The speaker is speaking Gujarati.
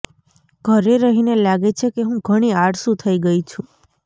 ઘરે રહીને લાગે છે કે હું ઘણી આળસુ થઇ ગઇ છું